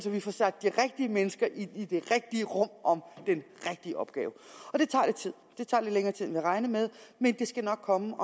vi får sat de rigtige mennesker ind i det rigtige rum om den rigtige opgave og det tager lidt tid det tager lidt længere tid end regnet med men det skal nok komme